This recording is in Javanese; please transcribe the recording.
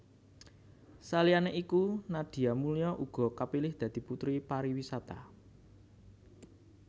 Saliyané iku Nadia Mulya uga kapilih dadi Puteri Pariwisata